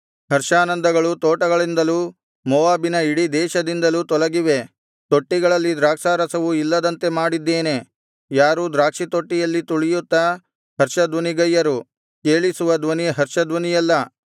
ಹರ್ಷಾನಂದಗಳು ತೋಟಗಳಿಂದಲೂ ಮೋವಾಬಿನ ಇಡೀ ದೇಶದಿಂದಲೂ ತೊಲಗಿವೆ ತೊಟ್ಟಿಗಳಲ್ಲಿ ದ್ರಾಕ್ಷಾರಸವು ಇಲ್ಲದಂತೆ ಮಾಡಿದ್ದೇನೆ ಯಾರೂ ದ್ರಾಕ್ಷಿತೊಟ್ಟಿಯಲ್ಲಿ ತುಳಿಯುತ್ತಾ ಹರ್ಷಧ್ವನಿಗೈಯರು ಕೇಳಿಸುವ ಧ್ವನಿ ಹರ್ಷಧ್ವನಿಯಲ್ಲ